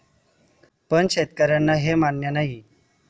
पण शेतकऱ्यांना हे मान्य नाही.